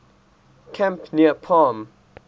camp near palm